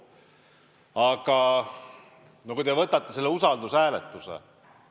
Aga te rääkisite usaldushääletusest.